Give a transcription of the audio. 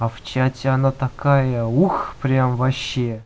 а в чате она такая ух прям вообще